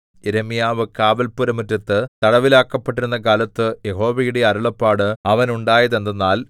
യിരെമ്യാവ് കാവൽപുരമുറ്റത്ത് തടവിലാക്കപ്പെട്ടിരുന്ന കാലത്ത് യഹോവയുടെ അരുളപ്പാട് അവനുണ്ടായതെന്തെന്നാൽ